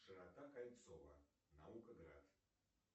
широта кольцово науко град